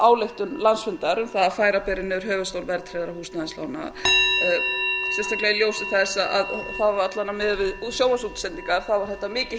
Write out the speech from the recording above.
ályktun landsfundar um það að færa beri niður höfuðstól verðtryggðra húsnæðislána sérstaklega í ljósi þess að það alla vega miðað við sjónvarpsútsendingar þá var þetta mikið